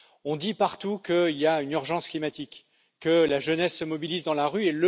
On dit partout qu'il y a une urgence climatique, que la jeunesse se mobilise dans la rue.